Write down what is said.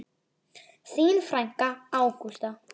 Þín frænka, Ágústa.